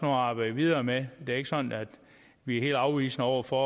at arbejde videre med det er ikke sådan at vi er helt afvisende over for